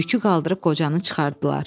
Yükü qaldırıb qocanı çıxartdılar.